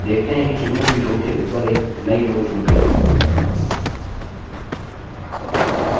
हम देखते हैं कि चुनी हुई row के ऊपर एक नई row जूड़ गई है